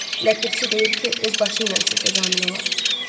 Ləpərçi deyir ki, öz başı ilə sizə zamin olar.